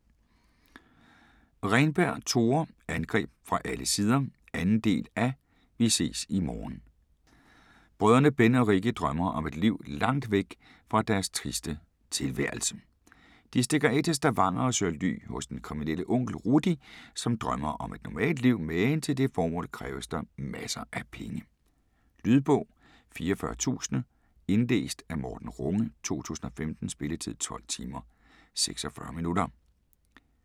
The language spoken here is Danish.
Renberg, Tore: Angreb fra alle sider 2. del af Vi ses i morgen. Brødrene Ben og Rikki drømmer om et liv lagt væk fra deres triste tilværelse. De stikker af til Stavanger og søger ly hos den kriminelle onkel Rudi som drømmer om et normalt liv, men til det formål kræves der masser af penge. Lydbog 44000 Indlæst af Morten Runge, 2015. Spilletid: 12 timer, 46 minutter.